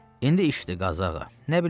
İndi işdir, Qazı ağa.